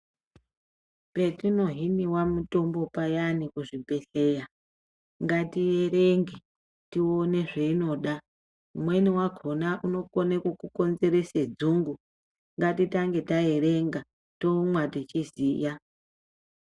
Petino hiniwa payani muzvibhedhlera ngatierenge tione zvainoda imweni yakona inokone kukukonzerese dzungu ngatitange taerenga tomwa teyiziya